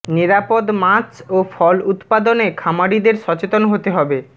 নিরাপদ মাছ ও ফল উৎপাদনে খামারিদের সচেতন হতে হবে